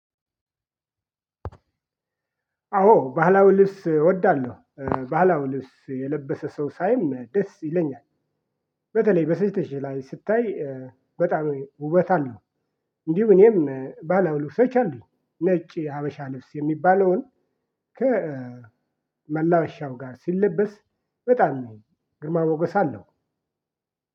አዎ ባህላዊ ልብስ እወዳለሁ ባህላዊ ልብስ የለበሰ ሰው ሳይም ደስ ይለኛል። በተለይ በሴቶች ላይ ሲታይ በጣም ውበት አለው። እንዲሁ እኔም ባህላዊ ልብሶች አሉኝ ነጭ ሀበሻ ልብስ የሚባለውን። ከመላበሻው ጋር ሲለበስ በጣም ግርማ ሞገስ አለው።